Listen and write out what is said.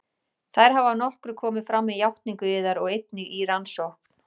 Þær hafa að nokkru komið fram með játningu yðar og einnig í rannsókn